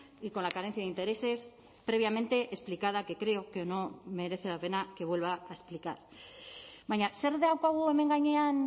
y con la carencia de intereses previamente explicada que creo que no merece la pena que vuelva a explicar baina zer daukagu hemen gainean